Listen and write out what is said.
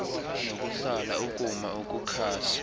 nokuhlala ukuma ukukhasa